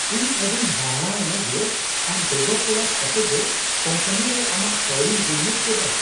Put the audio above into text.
ᱤᱧ ᱟᱹᱰᱤᱧ ᱦᱟᱦᱟᱲᱟ ᱮᱱᱟ ᱡᱮ ᱟᱢ ᱵᱮᱜᱚᱨ ᱛᱚᱞᱟᱥ ᱠᱟᱛᱮᱜᱮ ᱠᱳᱢᱯᱟᱱᱤ ᱨᱮ ᱟᱢᱟᱜ ᱠᱟᱹᱣᱰᱤᱢ ᱵᱤᱱᱤᱭᱳᱜ ᱠᱮᱫᱟ ᱾